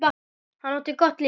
Hann átti gott líf.